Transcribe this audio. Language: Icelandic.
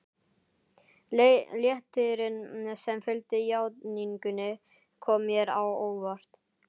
Léttirinn sem fylgdi játningunni kom mér á óvart.